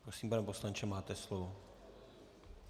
Prosím, pane poslanče, máte slovo.